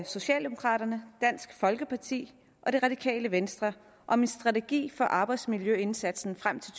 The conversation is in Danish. socialdemokraterne dansk folkeparti og det radikale venstre om en strategi for arbejdsmiljøindsatsen frem til